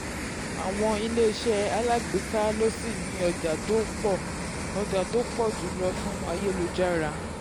àwọn iléeṣẹ́ alágbèéká ló ṣì ni ọjà tó pọ̀ ọjà tó pọ̀ jù lọ fún ayélujára.